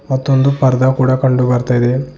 ಮತ್ತೊಂದು ಪರದ ಕೂಡ ಕಂಡು ಬರ್ತಾ ಇದೆ.